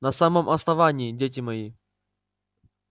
на самом основании дети мои